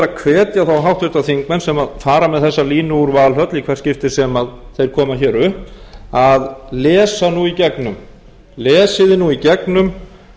hvetja þá háttvirtir þingmenn sem fara með þessa línu úr valhöll í hvert skipti sem þeir koma hér upp að lesa nú í gegnum lesið þið nú í gegnum